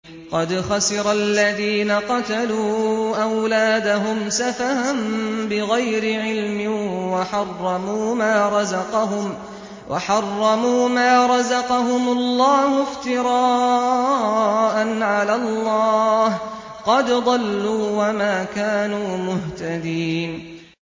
قَدْ خَسِرَ الَّذِينَ قَتَلُوا أَوْلَادَهُمْ سَفَهًا بِغَيْرِ عِلْمٍ وَحَرَّمُوا مَا رَزَقَهُمُ اللَّهُ افْتِرَاءً عَلَى اللَّهِ ۚ قَدْ ضَلُّوا وَمَا كَانُوا مُهْتَدِينَ